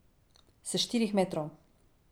S štirih metrov!